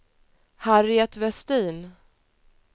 Harriet Westin